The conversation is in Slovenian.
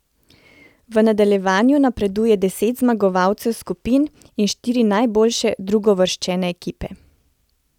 V nadaljevanje napreduje deset zmagovalcev skupin in štiri najboljše drugouvrščene ekipe.